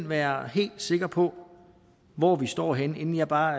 være helt sikker på hvor vi står henne inden jeg bare